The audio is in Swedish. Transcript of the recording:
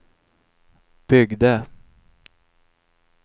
byggde